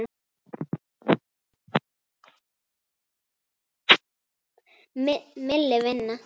Milli vina.